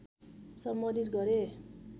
सम्बोधित गरे